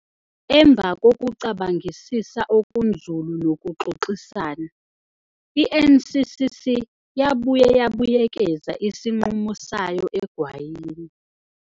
Emva kokucabangisisa okunzulu nokuxoxisana, i-NCCC yabuye yabuyekeza isinqumo sayo egwayini.